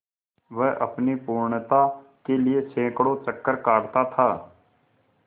वह अपनी पूर्णता के लिए सैंकड़ों चक्कर काटता था